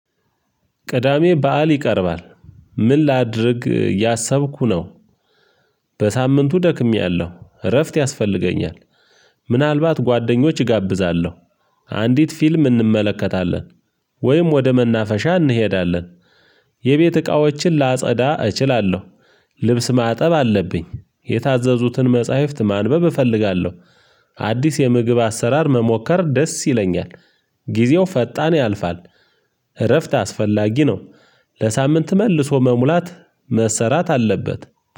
ቅዳሜ በዓል ይቀርባል ምን ላድርግ ያሰብኩ ነው በሳምንቱ ደክሜያለሁ እረፍት ያስፈልገኛል ምናልባት ጓደኞች እጋብዛለሁ አንዲት ፊልም እንመለከታለን ወይም ወደ መናፈሻ እንሄዳለን የቤት እቃዎችን ላጸዳ እችላለሁ ልብስ ማጠብ አለብኝ የታዘዙትን መጽሐፍት ማንበብ እፈልጋለሁ። አዲስ የምግብ አሰራር መሞከር ደስ ይለኛል። ጊዜው ፈጣን ያልፋል እረፍት አስፈላጊ ነው። ለሳምንት መልሶ መሙላት መሰራት አለበት።